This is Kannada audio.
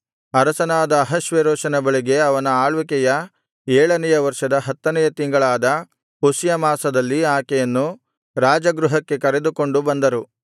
ಅರಸನಾದ ಅಹಷ್ವೇರೋಷನ ಬಳಿಗೆ ಅವನ ಆಳ್ವಿಕೆಯ ಏಳನೆಯ ವರ್ಷದ ಹತ್ತನೆಯ ತಿಂಗಳಾದ ಪುಷ್ಯ ಮಾಸದಲ್ಲಿ ಆಕೆಯನ್ನು ರಾಜಗೃಹಕ್ಕೆ ಕರೆದುಕೊಂಡು ಬಂದರು